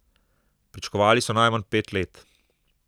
Pričakovali so najmanj pet let.